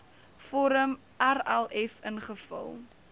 vorm rlf ingevul